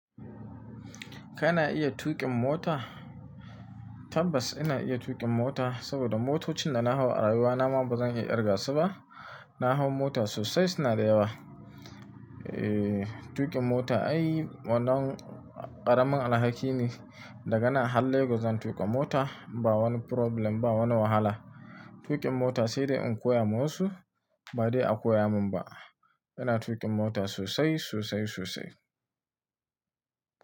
Kana iya tuƙin mota? Tabbas ina iya tuƙin mota saboda motocin da na hau a rayuwana ma ba zan iya irga su ba. Na hau mota sosai, suna da yawa. Eh, tuƙin mota ai wannan ƙaramin alhaki ne. Da ganan har legos zan tuƙa mota. Ba wani problem ba, wani wahala. Tuƙin mota sai dai in koya ma wasu ba dai a koya min ba. Ina tuƙin mota sosai, sosai, sosai.